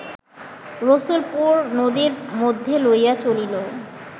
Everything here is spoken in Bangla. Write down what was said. রসুলপুর নদীর মধ্যে লইয়া চলিল